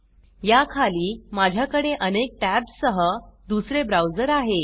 या खाली माझ्याकडे अनेक टॅब्स सह दुसरे ब्राउज़र आहे